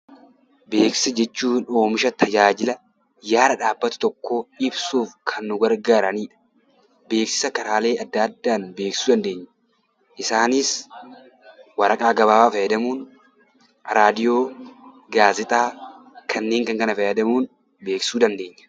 Beeksisa jechuun oomisha tajaajila gaara dhaabbatu tokkoo ibsuuf kan nu gargaaranidha. Beeksisa karaalee addaa addaan beeksisuu dandeenya. Isaanis waraqaa gabaabaa fayyadamuun, raadiyoo, gaazexaa kanneen kana fayyadamuun beeksisuu dandeenya.